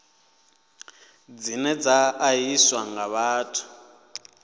dzine dza ṱahiswa nga vhathu